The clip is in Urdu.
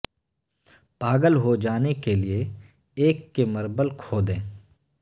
پاگل ہو جانے کے لئے ایک کے مربل کھو دیں